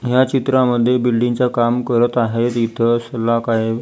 ह्या चित्रामध्ये बिल्डिंग च काम करत आहेत इथ सल्ला काय--